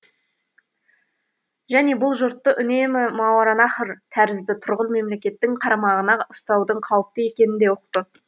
және бұл жұртты үнемі мауараннахр тәрізді тұрғын мемлекеттің қарамағына ұстаудың қауіпті екенін де ұқты